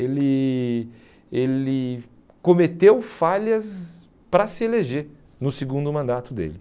Ele ele cometeu falhas para se eleger no segundo mandato dele.